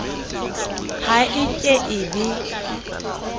ha e ke be e